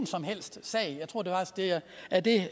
som helst sag jeg tror det er det